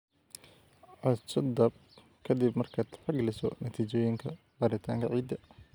Codso DAP ka dib markaad tixgeliso natiijooyinka baaritaanka ciidda.